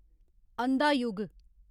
अंधा युग